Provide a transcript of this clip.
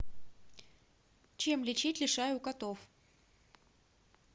чем лечить лишай у котов